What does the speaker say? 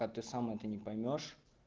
а ты сам это не поймёшь